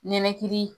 Nɛnɛkili